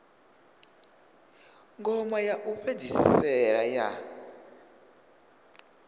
ngoma ya u fhedzisela ya